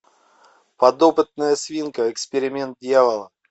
подопытная свинка эксперимент дьявола